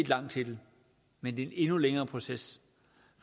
lang titel men det er en endnu længere proces